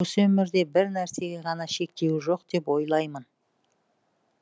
осы өмірде бір нәрсеге ғана шектеу жоқ деп ойлаймын